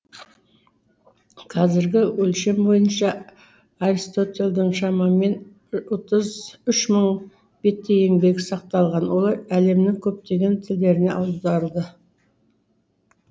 қазіргі өлшем бойынша аристотельдің шамамен үш мың беттей еңбегі сақталған олар әлемнің көптеген тілдеріне аударылды